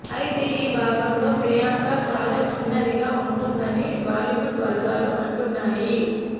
అయితే ఈ భాగంలో ప్రియాంక చాలా చిన్నదిగా ఉంటుందని బాలీవుడ్ వర్గాలు అంటున్నాయి